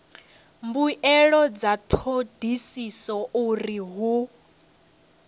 mbuelo dza thodisiso uri hu